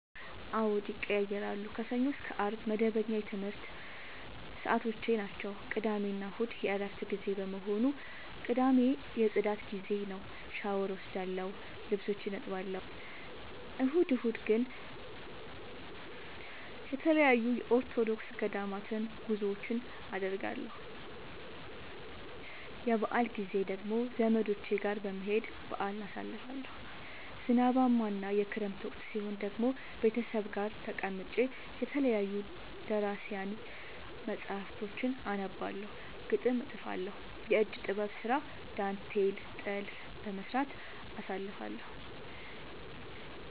አዎድ ይቀየያራሉ። ከሰኞ እስከ አርብ መደበኛ የትምረት ሰዓቶቼናቸው ቅዳሜና እሁድ የእረፍት ጊዜ በመሆኑ። ቅዳሜ የፅዳት ጊዜዬ ነው። ሻውር እወስዳለሁ ልብሶቼን አጥባለሁ። እሁድ እሁድ ግን ተለያዩ የኦርቶዶክስ ገዳማት ጉዞወችን አደርገለሁ። የበአል ጊዜ ደግሞ ዘመዶቼ ጋር በመሄድ በአልን አሳልፋለሁ። ዝናባማ እና የክረምት ወቅት ሲሆን ደግሞ ቤተሰብ ጋር ተቀምጬ የተለያዩ ደራሲያን መፀሀፍቶችን አነባለሁ፤ ግጥም እጥፋለሁ፤ የእጅ ጥበብ ስራ ዳንቴል ጥልፍ በመስራት አሳልፍለሁ።